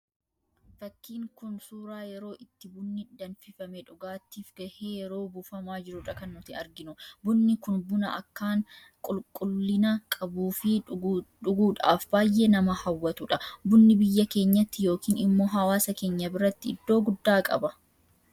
Fakkiin kun, suuraa yeroo itti bunni danfifame dhugaatiif gahee yeroo buufamaa jirudha kan nuti arginu. Bunni kun buna akkaan qulqulliina qabuu fi dhuguudhaaf baayyee nama hawwatudha. Bunni biyya keenyatti yookiin immoo hawaasa keenya biratti iddoo guddaa qaba.